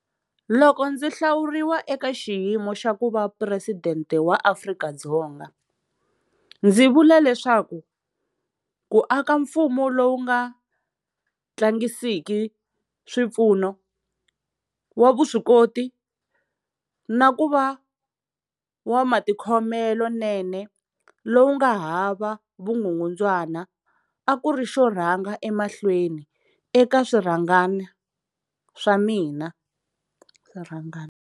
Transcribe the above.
Loko ndzi hlawuriwa eka xiyimo xa ku va Phuresidente wa Afrika-Dzonga, ndzi vule leswaku ku aka mfumo lowu nga tlangisiki swipfuno, wa vuswikoti na ku va wa matikhomelonene lowu nga hava vukungundzwana a ku ri xo rhanga emahlweni eka swirhangana swa mina.